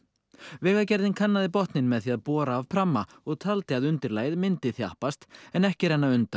vegagerðin kannaði botninn með því að bora af pramma og taldi að undirlagið myndi þjappast en ekki renna undan